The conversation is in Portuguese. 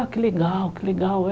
Ah, que legal, que legal.